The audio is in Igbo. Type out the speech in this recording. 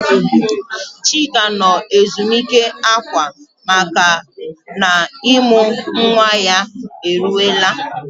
Chika nọ ezumike akwa makana ịmụ nwa ya eruwela.